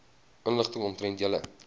inligting omtrent julle